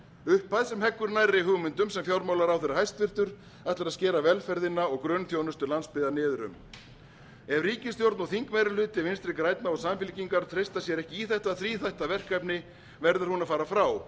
upphæð sem heggur nærri hugmyndum sem hæstvirtur fjármálaráðherra ætlar að skera velferðina og grunnþjónustu landsbyggðar niður um ef ríkisstjórn og þingmeirihluti vinstri grænna og samfylkingar treysta sér ekki í þetta þríþætta verkefni verður hún að fara frá